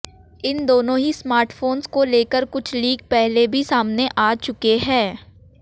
इन दोनों ही स्मार्टफोंस को लेकर कुछ लीक पहले भी सामने आ चुके हैं